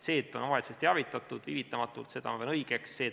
Seda, et omavalitsust teavitatakse viivitamatult, ma pean õigeks.